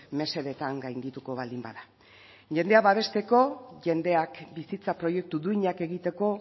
mesedetan gaindituko baldin bada jendea babesteko jendeak bizitza proiektu duinak egiteko